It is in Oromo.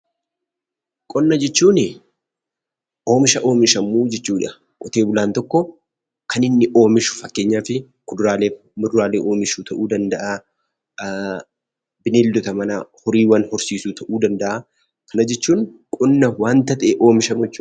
Qonna jechuun oomisha oomishamu jechuudha. Qotee bulaan tokko kan inni oomishu fakkeenyaaf kuduraalee fi muduraalee oomishuu ta'uu danda'a, bineeldota manaa horii horsiisuu ta'uu danda'a. Kana jechuun qonna waanta ta'e oomishamu jechuudha.